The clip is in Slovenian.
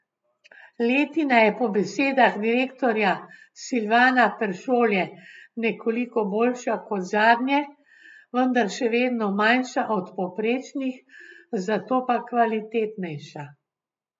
Letina je po besedah direktorja Silvana Peršolje nekoliko boljša kot zadnje, vendar še vedno manjša od povprečnih, zato pa kvalitetnejša.